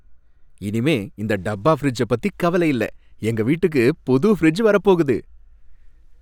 இனிமே இந்த டப்பா ஃபிரிட்ஜ பத்தி கவலை இல்லை, எங்க வீட்டுக்கு புது ஃபிரிட்ஜ் வரப் போகுது!